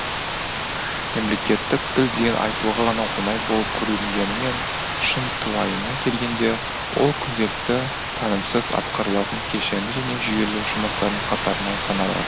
мемлекеттік тіл деген айтуға ғана оңай болып көрінгенімен шынтуайына келгенде ол күнделікті танымсыз атқарылатын кешенді және жүйелі жұмыстардың қатарынан саналады